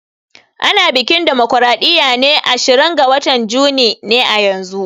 Ana biƙin damocraɗiya ne ashirin ga watan juni ne yanzun